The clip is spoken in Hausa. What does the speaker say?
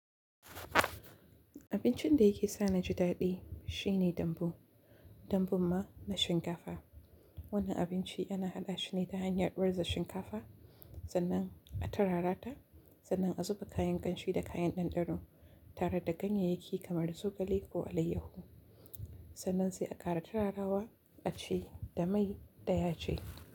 Abincin da yake sa na jidaɗi shine dambu, dambun ma na shinkafa. Wannan abinci ana haɗa shi ne ta hanyar warza shinkafa sannan a tarara ta, sannan a zuba kayan kanshi da kayan ɗanɗano tare da ganyayyaki kamar zogale ko alayyahu. Sannan sai a ƙara tararawa, a ci da mai ɗaya ce.